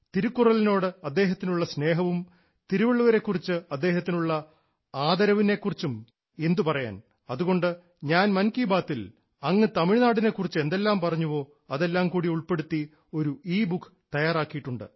തിരുക്കുറളിനോട് അദ്ദേഹത്തിനുള്ള സ്നേഹവും തിരുവള്ളുവരെ കുറിച്ച് അദ്ദേഹത്തിനുള്ള ആദരവിനെ കുറിച്ചും എന്തുപറയാൻ അതുകൊണ്ട് ഞാൻ മൻ കി ബാത്തിൽ അങ്ങ് തമിഴ്നാടിനെ കുറിച്ച് എന്തെല്ലാം പറഞ്ഞുവോ അതെല്ലാം കൂടി ഉൾപ്പെടുത്തി ഒരു ഇബുക്ക് തയ്യാറാക്കിയിട്ടുണ്ട്